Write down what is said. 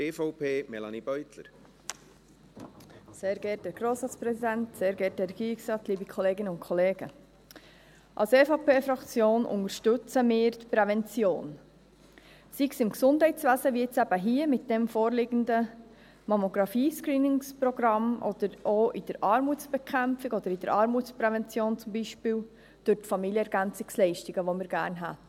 Die EVP-Fraktion unterstützt die Prävention, sei es im Gesundheitswesen, wie jetzt eben hier, mit diesem vorliegenden Mammographie-Screening-Programm, oder auch in der Armutsbekämpfung oder in der Armutsprävention, zum Beispiel durch die Familienergänzungsleistungen, die wir gerne hätten.